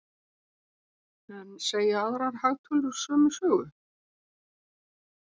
En segja aðrar hagtölur sömu sögu?